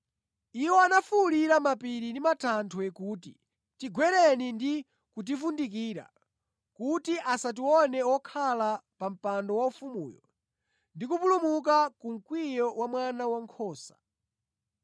Iwo anafuwulira mapiri ndi matanthwe kuti, “Tigwereni ndi kutivundikira kuti asatione wokhala pa mpando waufumuyo ndi kupulumuka ku mkwiyo wa Mwana Wankhosa!